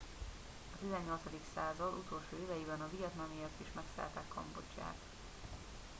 a 18. század utolsó éveiben a vietnamiak is megszállták kambodzsát